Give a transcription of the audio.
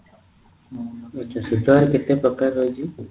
ହୁଁ ଆଛା ସେଟା ଆଉ କେତେ ପ୍ରକାରର ରହୁଛି